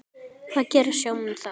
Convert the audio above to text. Hvað gera sjómenn þá?